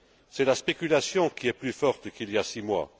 C'est la spéculation qui est plus forte qu'il y a six mois.